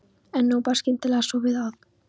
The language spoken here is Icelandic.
En nú bar skyndilega svo við að